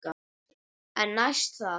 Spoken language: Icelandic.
En næst það?